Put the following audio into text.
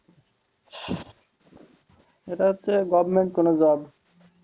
এটা হচ্ছে গভমেন্ট কোন job